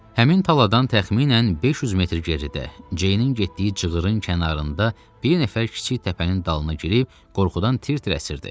Həmin taladan təxminən 500 metr geridə Ceynin getdiyi cığırın kənarında bir nəfər kiçik təpənin dalına girib qorxudan tir-tir əsirdi.